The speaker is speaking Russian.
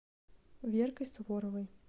веркой суворовой